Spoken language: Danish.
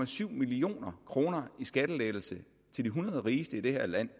to million kroner i skattelettelse til de hundrede rigeste i det her land